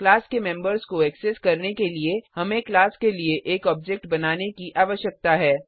class के members को access करने के लिए हमें क्लास के लिए एक ऑब्जेक्ट बनाने की आवश्यकता है